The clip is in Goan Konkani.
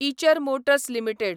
Eicher Motors limited